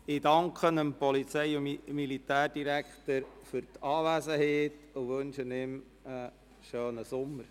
Ich danke dem Polizei- und Militärdirektor für seine Anwesenheit und wünsche ihm einen schönen Sommer.